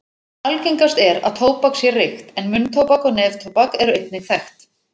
Algengast er að tóbak sé reykt en munntóbak og neftóbak eru einnig þekkt.